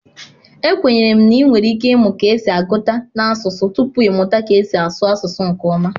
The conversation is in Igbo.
Ekwenyere m na ị nwere ike ịmụ ka esi agụta n'asụsụ tupu ị mụta ka esi asụ asụsụ nke ọma